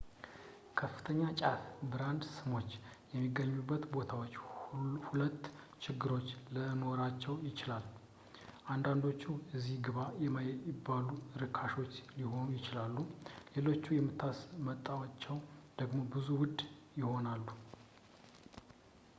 ከፍተኛ ጫፍ ብራንድ ስሞች የሚገኙበት ቦታዎች ሁለት ችግሮች ለኖራቸው ይችላል አንዳንዶቹ እዚ ግባ የማይባሉ ርካሾች ሊሆኑ ይችላሉ ሌሎች የምታስመጣቸው ደሞ ብዙ ውድ ይሆናሉ